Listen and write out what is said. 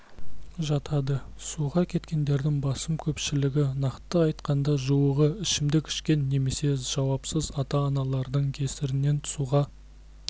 жатады суға кеткендердің басым көпшілігі нақты айтқанда жуығы ішімдік ішкен немесе жауапсыз ата-аналардың кесірінен суға